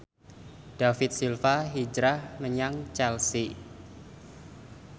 David Silva hijrah menyang Chelsea